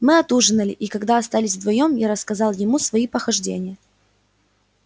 мы отужинали и когда остались вдвоём я рассказал ему свои похождения